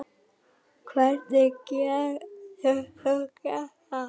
Hvernig getur þú gert það?